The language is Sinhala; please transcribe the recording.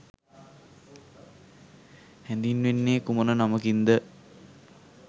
හැඳින්වෙන්නේ කුමන නමකින්ද?